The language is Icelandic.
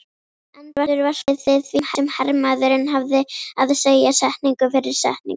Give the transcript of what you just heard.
Endurvarpaði því sem hermaðurinn hafði að segja, setningu fyrir setningu